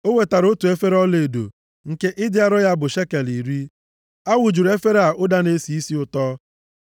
O wetara otu efere ọlaedo, nke ịdị arọ ya bụ shekel iri. A wụjuru efere a ụda na-esi isi ụtọ.